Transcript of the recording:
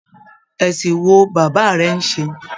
Ẹsìn wo bàbá rẹ n ṣe?